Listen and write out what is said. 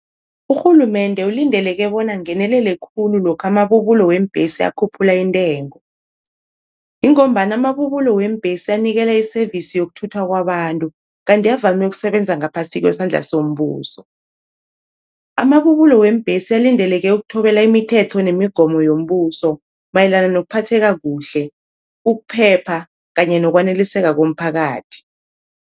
Urhulumende ulindeleke bona angenelele khulu lokha amabubulo weembhesi akhuphula intengo, ingombana amabubulo weembhesi anikela i-service yokuthuthwa kwabantu kanti avame ukusebenza ngaphasi kwesandla sombuso. Amabubulo weembhesi alindeleke ukuthobela imithetho nemigomo yombuso mayelana nokuphatheka kuhle, ukuphepha kanye nokwaneliseka komphakathi.